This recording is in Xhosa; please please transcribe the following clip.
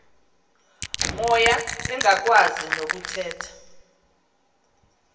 moya engakwazi nokuthetha